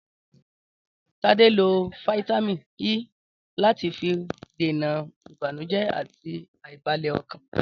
Tade lo fítámìn E lati fi dènà ìbànújẹ ati aibalẹ ọkàn.